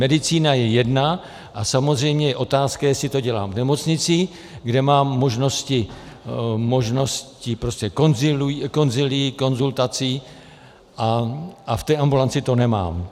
Medicína je jedna a samozřejmě je otázka, jestli to dělám v nemocnici, kde mám možnosti konzilií, konzultaci, a v té ambulanci to nemám.